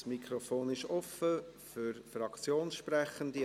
Das Mikrofon ist offen für Fraktionssprechende.